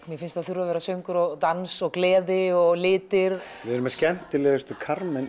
mér finnst það þurfa að vera söngur og dans og gleði og litir við erum með skemmtilegustu